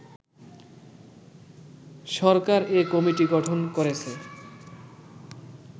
সরকার এ কমিটি গঠন করেছে